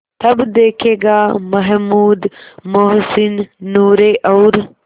तब देखेगा महमूद मोहसिन नूरे और